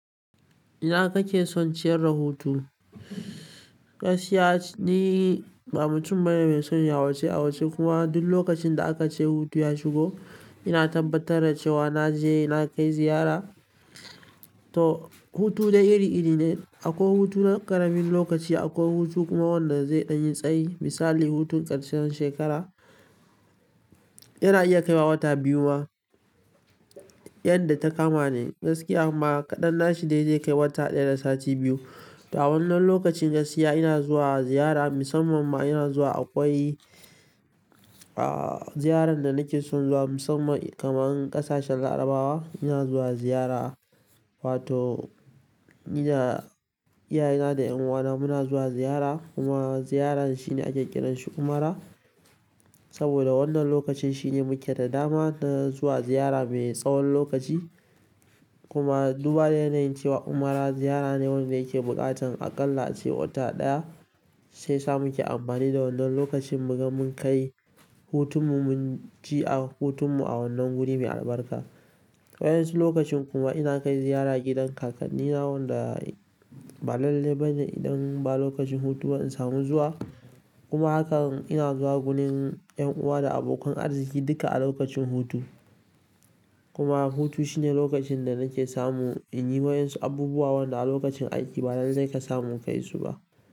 Ina kake son ciyar rahoto? Gaskiya ni ba mutum ba ne mai son ya wuce a wuce kuma duk lokacin da aka ce hutu ya shigo ina tabbatar da cewa naje na kai ziyara. Toh hutu dai iri-iri ne. Akwai hutu na ƙaramin lokaci, akwai hutu kuma wanda zai ɗan yi tsayi. Misali hutun ƙarshen shekara yana iya kaiwa wata biyu ma, yadda ta kama ne gaskiya amma kaɗan nashi dai zai kai wata ɗaya da sati biyu. A wannan lokacin gaskiya ina zuwa ziyara musamman ma ina zuwa akwai, ah, ziyaran da nake son zuwa musamman kamar ƙasashen Larabawa ina zuwa ziyara. Wato ina da iyayena da 'yan uwana muna zuwa ziyara kuma ziyaran shine a ke ƙiranshi umara saboda wannan lokacin shine muke da dama na zuwa ziyara mai tsawon lokaci kuma duba da yanayin cewa umara ziyara ne wanda yake buƙatan a ƙalla ace wata ɗaya shi yasa muke amfani da wannan lokacin muga mun kai hutunmu mun ji a hutunmu a wannan wuri mai albarka. Wayan su lokacin kuma ina kai ziyara gidan ƙakkanina wanda ba lalle bane idan ba lokacin hutu ba in samu zuwa kuma hakan ina zuwa wurin 'yan uwa da abokan arziki duka a lokacin hutu. Kuma hutu shine lokacin da nake samu in yi wa yansu abubuwa wanda a lokacin aiki ba lalle ka samu ka yi su ba.